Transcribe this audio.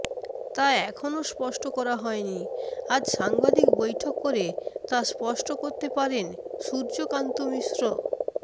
তা এখনও স্পষ্ট করা হয়নি আজ সাংবাদিক বৈঠক করে তা স্পষ্ট করতে পারেন সূর্যকান্ত মিশ্র